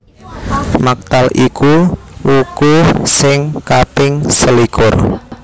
Maktal iku wuku sing kaping selikur